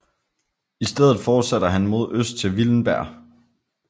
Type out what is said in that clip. I stedet fortsætter han mod øst til Willenberg